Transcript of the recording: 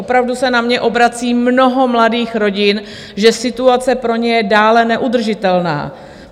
Opravdu se na mě obrací mnoho mladých rodin, že situace pro ně je dále neudržitelná.